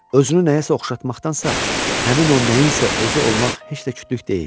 Özünü nəyəsə oxşatmaqdansa, həmin o nəyinsə özü olmaq heç də kütlük deyil.